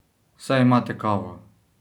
Saj imate kavo?